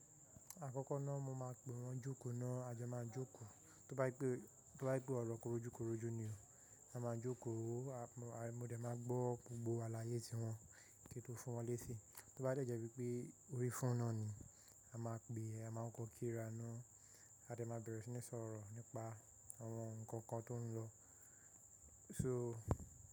Àkọ́kọ́ náà mo máa pe wọ́n jókòó náà, a jo máa jókòó. Tó bá je pe, tó bá pe ọ̀rọ̀ korojúkorojú ni o. A máa jókòó, mo dẹ̀ máa gbọ́ gbogbo àlàyé tí wọ́n kí n tó fún wọn léṣi. Tó bá de je wípé orí foonu un náà ni, a máa pè é, a máa kọ́ kírá náà, a de máa bẹ̀rẹ̀ sí ní sọ̀rọ̀ nípa àwọn nǹkan kan tó ń lọ. So.